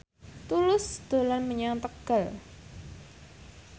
Tulus dolan menyang Tegal